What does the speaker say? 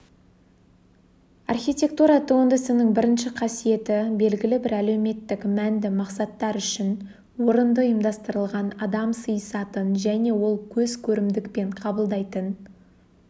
архитектура туындысының бірінші қасиеті белгілі бір әлеуметтік мәнді мақсаттар үшін орынды ұйымдастырылған адам сыйысатын және ол көзкөрімдікпен қабылдайтын